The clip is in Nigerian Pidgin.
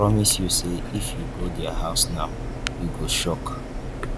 i promise you say if you go their houses now you go shock